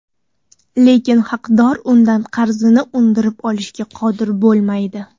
Lekin haqdor undan qarzini undirib olishga qodir bo‘lmaydi.